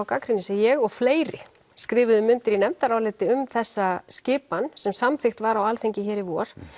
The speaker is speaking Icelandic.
gagnrýni sem ég og fleiri skrifuðum undir í nefndaráliti um þessa skipan sem samþykkt var á Alþingi hér í vor